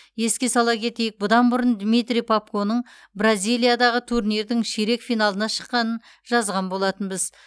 еске сала кетейік бұдан бұрын дмитрий попконың бразилиядағы турнирдің ширек финалына шыққанын жазған болатынбыз